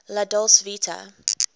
la dolce vita